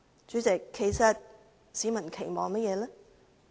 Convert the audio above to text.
主席，其實市民有甚麼期望呢？